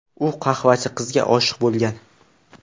U qahvachi qizga oshiq bo‘lgan.